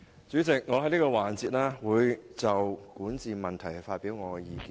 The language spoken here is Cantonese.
主席，在本辯論環節我會就管治問題發表意見。